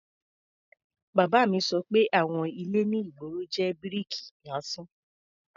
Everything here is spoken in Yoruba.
Bàbá mi sọ pé àwon ilé ní ìgboro jẹ́ bíríkì lásán.